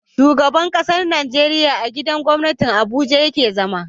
Shugaban ƙasar Nigeria a gidan gwamnati abuja yake zama